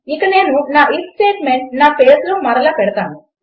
ఇక నేను నా íf స్టేట్మెంట్ నా పేజ్లో మరల పెడతాను